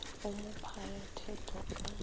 o mo phaya thetho ka